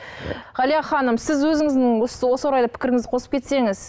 ғалия ханым сіз өзіңіздің осы орайда пікіріңізді қосып кетсеңіз